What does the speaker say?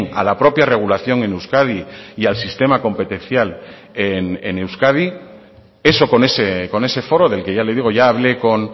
a la propia regulación en euskadi y al sistema competencial en euskadi eso con ese foro del que ya le digo ya hablé con